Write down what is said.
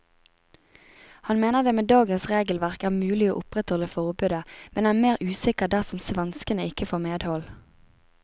Han mener det med dagens regelverk er mulig å opprettholde forbudet, men er mer usikker dersom svenskene ikke får medhold.